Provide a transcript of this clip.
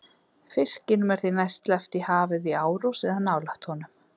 Fiskinum er því næst sleppt í hafið í árós eða nálægt honum.